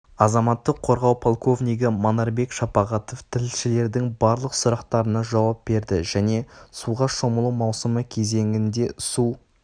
азаматтық қорғау полковнигі манарбек шапағатов тілшілердің барлық сұрақтарына жауап берді және суға шомылу маусымы кезеңінде су